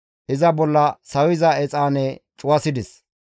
iza bolla sawiza exaane cuwasides.